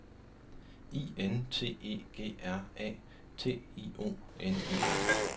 I N T E G R A T I O N E N